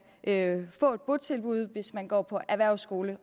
kan få et botilbud hvis man går på erhvervsskole